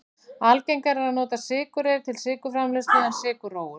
Algengara er að nota sykurreyr til sykurframleiðslu en sykurrófur.